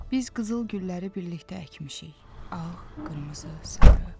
Biz qızıl gülləri birlikdə əkmişik: ağ, qırmızı, sarı.